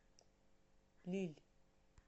лилль